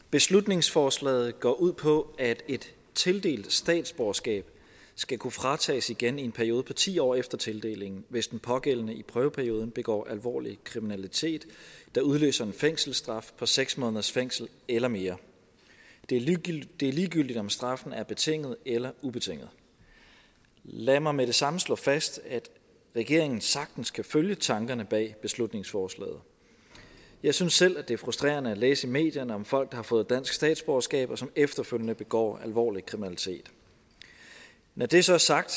beslutningsforslaget går ud på at et tildelt statsborgerskab skal kunne fratages igen i en periode på ti år efter tildelingen hvis den pågældende i prøveperioden begår alvorlig kriminalitet der udløser en fængselsstraf på seks måneders fængsel eller mere det er ligegyldigt om straffen er betinget eller ubetinget lad mig med det samme slå fast at regeringen sagtens kan følge tankerne bag beslutningsforslaget jeg synes selv at det er frustrerende at læse i medierne om folk der har fået dansk statsborgerskab og som efterfølgende begår alvorlig kriminalitet når det så er sagt